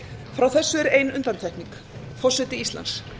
frá þessu er ein undantekning forseti íslands